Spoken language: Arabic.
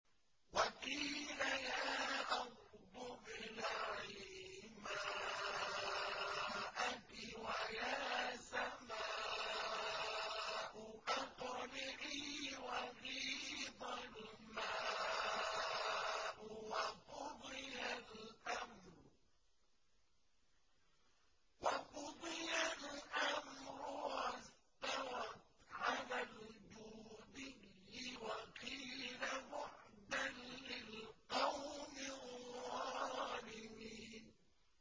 وَقِيلَ يَا أَرْضُ ابْلَعِي مَاءَكِ وَيَا سَمَاءُ أَقْلِعِي وَغِيضَ الْمَاءُ وَقُضِيَ الْأَمْرُ وَاسْتَوَتْ عَلَى الْجُودِيِّ ۖ وَقِيلَ بُعْدًا لِّلْقَوْمِ الظَّالِمِينَ